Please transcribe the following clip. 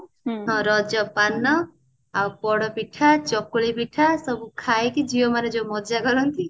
ରଜ ପାନ ଆଉ ପୋଡପିଠା ଚକୁଳି ପିଠା ସବୁ ଖାଇକି ଝିଅମାନେ ଯୋଉ ମଜା କରନ୍ତି